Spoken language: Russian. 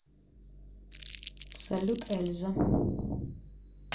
салют эльза